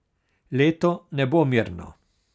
Leto ne bo mirno.